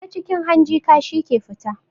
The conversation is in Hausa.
Ta cikin hanji kashi ke fita